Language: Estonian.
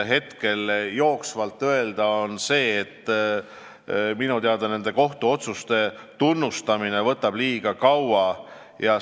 Hetkel oskan ma öelda seda, et minu teada nende kohtuotsuste tunnustamine võtab liiga kaua aega.